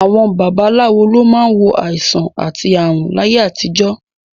Àwọn babaláwo ló máa ń wo àìsàn àti ààrùn láyé àtijọ́